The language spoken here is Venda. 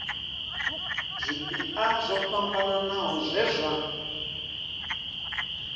zwipia zwo fhambanaho zwe zwa